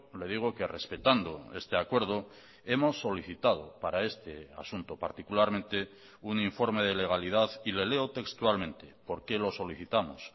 le digo que respetando este acuerdo hemos solicitado para este asunto particularmente un informe de legalidad y le leo textualmente por qué lo solicitamos